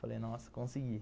Falei, nossa, consegui.